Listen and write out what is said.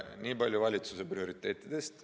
Niipalju valitsuse prioriteetidest.